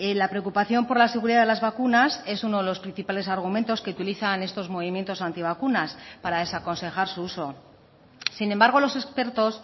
la preocupación por la seguridad de las vacunas es uno de los principales argumentos que utilizan estos movimientos antivacunas para desaconsejar su uso sin embargo los expertos